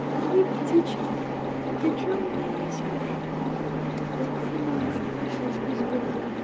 какие птички ты что мне несёшь лапшу на уши вешаешь безбожно